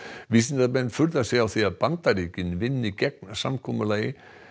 vísindamenn furða sig á því að Bandaríkin vinni gegn samkomulagi